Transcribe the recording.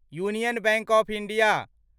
union Bank of India